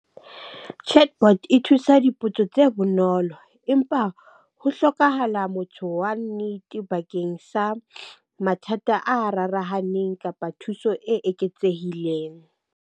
Chatbot e thusa dipotso tse bonolo empa ho hlokahala motho wa nnete bakeng sa mathata a rarahaneng kapa thuso e eketsehileng.